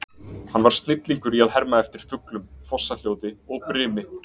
Hann var snillingur í að herma eftir fuglum, fossahljóði og brimi.